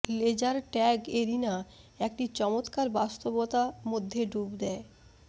laser tag arena একটি চমত্কার বাস্তবতা মধ্যে ডুব দেয়